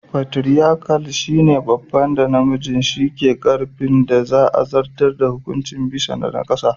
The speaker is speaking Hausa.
"Partriarchal" shine babban da namiji shi ke karfin da za a zartar da hukunci bisa na kasa da.